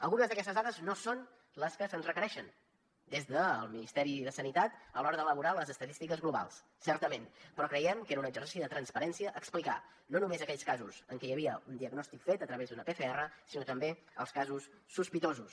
algunes d’aquestes dades no són les que se’ns requereixen des del ministeri de sanitat a l’hora d’elaborar les estadístiques globals certament però creiem que era un exercici de transparència explicar no només aquells casos en què hi havia un diagnòstic fet a través d’una pcr sinó també els casos sospitosos